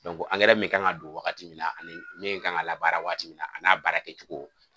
min kan ka don wagati min na ani min kan ka la baara waati min na, a n'a baara kɛ cogo.